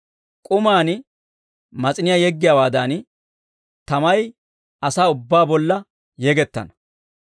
«K'umaan mas'iniyaa yeggiyaawaadan, tamay asaa ubbaa bolla yegettana.